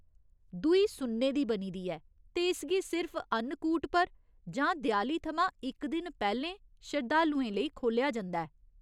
दूई सुन्ने दी बनी दी ऐ ते इसगी सिर्फ अन्नकूट पर जां देआली थमां इक दिन पैह्‌लें शरधालुएं लेई खोह्‌लेआ जंदा ऐ।